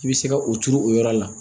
I bɛ se ka o turu o yɔrɔ la